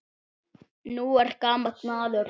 Nú er gamall maður látinn.